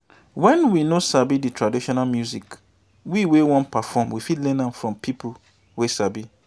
when we noo sabi di traditional music wey we wan perform we fit learn am from pipo wey sabi